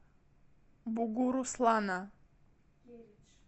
бугуруслана